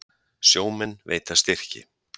Sjómenn veita styrki